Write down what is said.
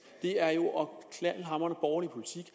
det er jo knaldhamrende borgerlig politik